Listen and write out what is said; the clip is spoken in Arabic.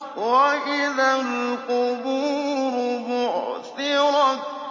وَإِذَا الْقُبُورُ بُعْثِرَتْ